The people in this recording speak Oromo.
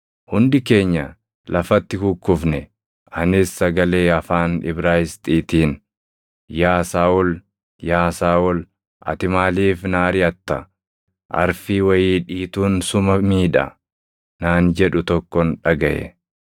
Hundi keenya lafatti kukkufne; anis sagalee afaan Ibraayisxiitiin ‘Yaa Saaʼol, yaa Saaʼol, ati maaliif na ariʼatta? Arfii wayii dhiituun suma miidha’ naan jedhu tokkon dhagaʼe.